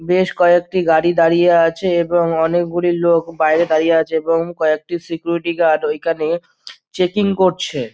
বেশ কয়েকটি গাড়ি দাঁড়িয়ে আছে এবং অনোকগুলি লোক বাহিরে দাঁড়িয়ে আছে আবেগে কয়েকটি সিকিউরিটি গার্ড ওইখানে চেকইন করছে।